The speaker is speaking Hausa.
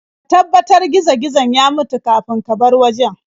Ka tabbatar gizo-gizon ya mutu kafin ka bar wajen.